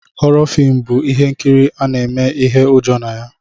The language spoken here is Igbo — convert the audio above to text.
Họrọ filmu bụ ihe nkiri ana eme ihe ụjọ na ya.